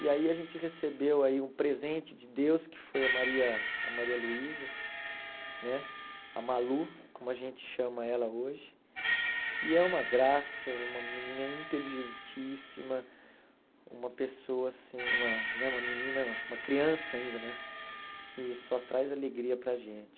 E aí a gente recebeu aí um presente de Deus, que foi a Maria a Maria Luísa, né a Malu, como a gente chama ela hoje, que é uma graça, uma menina inteligentíssima, uma pessoa assim uma né uma menina uma criança ainda né, que só traz alegria para a gente.